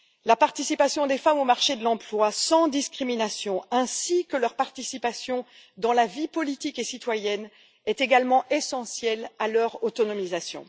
La participation des femmes au marché de l'emploi, sans discrimination, ainsi que leur participation à la vie politique et citoyenne sont également essentielles à leur autonomisation.